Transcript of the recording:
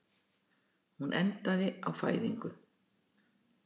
Hún endaði á fæðingu.